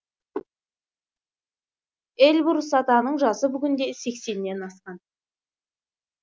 эльбрус атаның жасы бүгінде сексеннен асқан